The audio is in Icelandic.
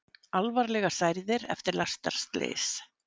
Alvarlega særðir eftir lestarslys